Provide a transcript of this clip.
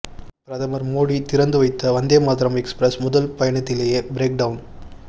பிரதமர் மோடி திறந்து வைத்த வந்தே மாதரம் எக்ஸ்பிரஸ் முதல் பயணத்திலேயே பிரேக் டவுன்